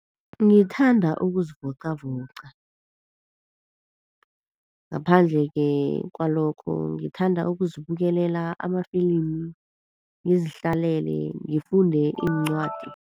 Ngithanda ukuzivoqavoqa. Ngaphandle-ke kwalokho ngithanda ukuzibukelela amafilimi, ngizihlalele, ngifunde iincwadi.